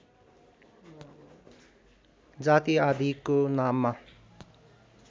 जाति आदिको नाममा